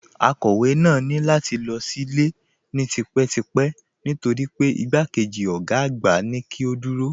Akọ̀wé náà ní láti lọ sílé ni típetípẹ́ nítorí pé igbákejì ọ̀gá àgbà mú kí ó dúró